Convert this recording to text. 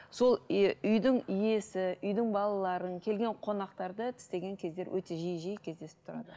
сол ы үйдің иесі үйдің балаларын келген қонақтарды тістеген кездер өте жиі жиі кездесіп тұрады